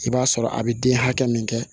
I b'a sɔrɔ a bɛ den hakɛ min kɛ